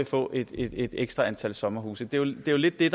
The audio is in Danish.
få et ekstra antal sommerhusudlejninger det det